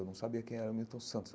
Eu não sabia quem era o Milton Santos.